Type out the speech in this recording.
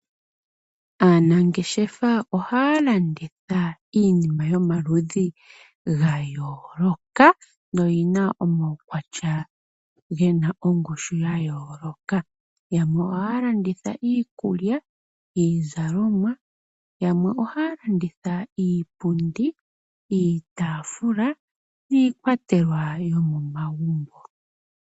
Aanangeshefa ohaya landitha iinima yomaludhi ga yooloka nogena omawukwatya gena ongushu ya yooloka. Yamwe ohaya landitha iikulya, iizalomwa. Yamwe ohaya landitha iipundi, iitafuula niikwatelwa yomo magumbo.